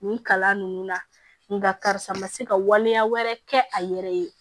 Nin kalan ninnu na nka karisa ma se ka waleya wɛrɛ kɛ a yɛrɛ ye